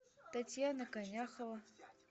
татьяна коняхова